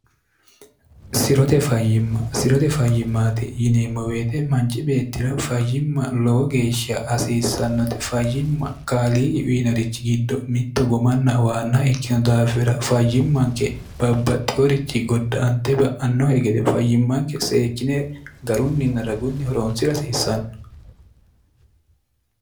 sirote fayyimma sirote fayyimmaati yineemmo beete manci beettira fayyimma lowo geeshsha hasiissannote fayyimma kaliigi wiinorichi giddo mitto gomanna waanna ikkino daafira fayyimmanke babbaxxiworichi godda ante ba'annohe gede fayyimmanke seekkine garunninna ragunni horoonsira hasiissanno